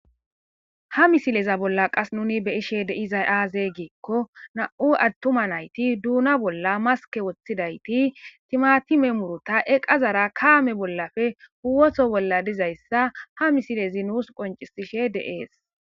Ha misile bolla nuni be, iza ayibe giko dona boll maske wotidayiti timatime muruta iqazara kame bollappe woto bolla dizayisa ha nusi co,ncisishe de,ees